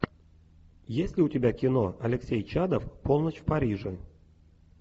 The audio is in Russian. есть ли у тебя кино алексей чадов полночь в париже